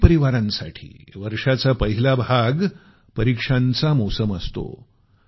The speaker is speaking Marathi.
अनेक परीवारांसाठी वर्षाचा पहिला भाग परीक्षांचा मोसम असतो